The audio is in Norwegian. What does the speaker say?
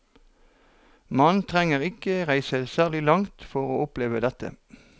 Man trenger ikke reise særlig langt for å oppleve dette.